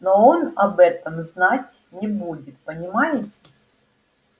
но он об этом знать не будет понимаете